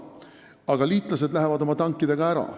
Aga liitlased lähevad oma tankidega ära.